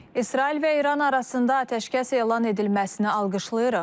İsrail və İran arasında atəşkəs elan edilməsini alqışlayırıq.